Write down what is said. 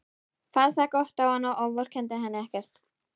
Fannst það gott á hana og vorkenndi henni ekkert.